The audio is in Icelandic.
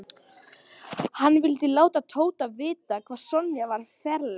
Hann vildi láta Tóta vita hvað Sonja var ferleg.